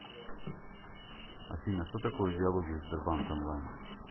афина что такое диалоги в сбербанк онлайн